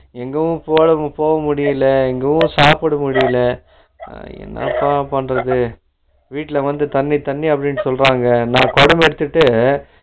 எங்கவும் போறது போகமுடியல எதுவும் சாப்பிட முடியல ஆஹா என்னப்பா பண்றது வீட்டுல வந்து தண்ணி தண்ணி அப்படின்டு சொல்றாங்க நான் கொடம் எடுத்துட்டு